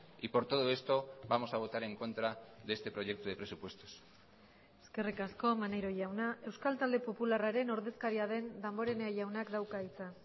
y por todo esto vamos a votar en contra de este proyecto de presupuestos eskerrik asko maneiro jauna euskal talde popularraren ordezkaria den damborenea jaunak dauka hitza